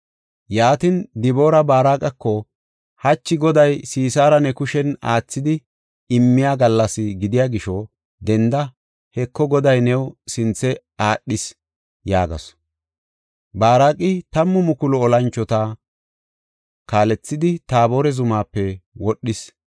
Yaatin Diboori Baaraqako, “Hachi Goday Sisaara ne kushen aathidi immiya gallas gidiya gisho denda. Heko, Goday new sinthe aadhis” yaagasu. Baaraqi tammu mukulu olanchota kaalethidi, Taabore zumaape wodhis.